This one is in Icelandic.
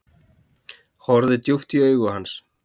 Horfi djúpt í augu hans.